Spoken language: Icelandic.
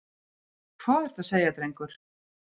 Hvað ertu að segja, drengur?